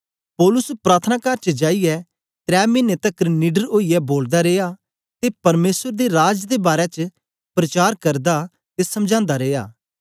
पौलुस प्रार्थनाकार च जाईयै त्रै मिने तकर निडर ओईयै बोलदा रिया ते परमेसर दे राज दे बारै च प्रचार करदा ते समझांदा रिया